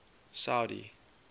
saudi